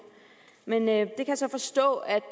men jeg kan så forstå at